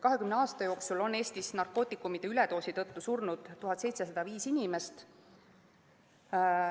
20 aasta jooksul on Eestis narkootikumide üledoosi tõttu surnud 1705 inimest.